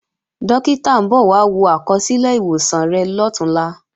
Dókítà ń bọ̀ wá wo àkọsílẹ̀ ìwòsàn rẹ̀ lọ̀túnla